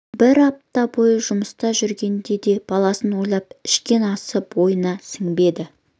бір апта бойы жұмыста жүргенде де баласын ойлап ішкен асы бойына сіңбеді